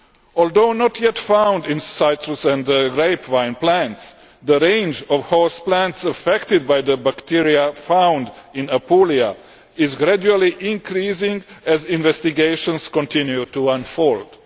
Although not yet found in citrus and grapevine plants, the range of host plants affected by the bacterium found in Apulia is gradually increasing as investigations continue to unfold.